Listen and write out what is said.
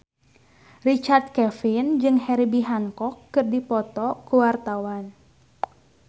Richard Kevin jeung Herbie Hancock keur dipoto ku wartawan